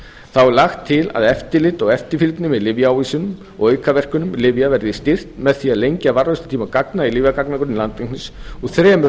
þá er lagt til að eftirlit og eftirfylgni með lyfjaávísunum og aukaverkunum lyfja verði styrkt með því að lengja varðveislutíma gagna í lyfjagagnagrunni landlæknis úr þremur